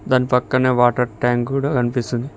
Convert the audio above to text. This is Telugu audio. దాని పక్కనే వాటర్ ట్యాంక్ కూడా కనిపిస్తుంది.